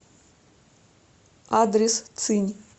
адрес цинь